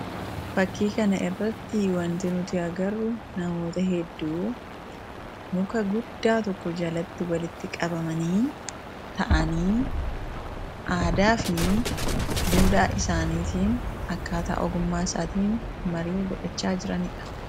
Fakkii kana irratti wanti nuti agarru namoota hedduu muka guddaa tokko jalatti walitti qabamanii ta'aanii aadaa fi duudhaa isaaniitiin akkaataa ogummaa isaatiin marii godhachaa jiranidha